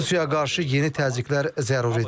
Rusiya qarşı yeni təzyiqlər zəruridir.